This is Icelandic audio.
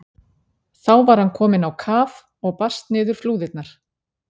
Þá var hann kominn á kaf og barst niður flúðirnar.